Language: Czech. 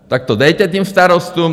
Tak to dejte těm starostům!